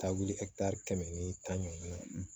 Taa wuli kɛmɛ ni tan ɲɔgɔn